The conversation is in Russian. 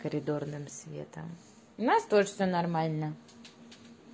коридорным светом у нас тоже всё нормально